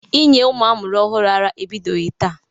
Inye ụmụ a mụrụ ọhụrụ ara ebidoghi taa.